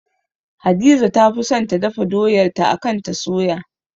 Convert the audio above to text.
Hadiza ta fi son ta dafa doyar ta akan ta soya